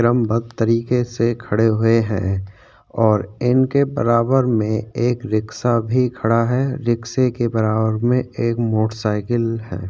क्रमबद्ध तरीके से खड़े हुए है और इनके बराबर में एक रिक्सा भी खड़ा है रिक्से के बराबर में एक मोटर साईकिल है।